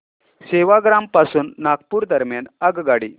सेवाग्राम पासून नागपूर दरम्यान आगगाडी